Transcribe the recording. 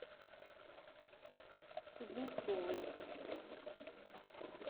кузнецовой